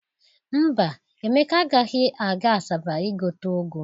Mba, Emeka agaghị aga Asaba igote ụgụ.